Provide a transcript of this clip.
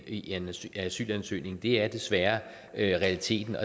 i en asylansøgning det er desværre realiteten